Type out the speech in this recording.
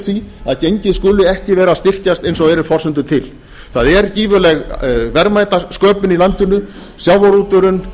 því að gengið skuli ekki vera að styrkjast eins og eru forsendur til það er gífurleg verðmætasköpun í landinu sjávarútvegurinn